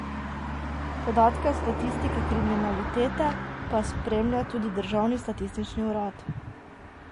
Podatke o statistiki kriminalitete pa spremlja tudi državni statistični urad.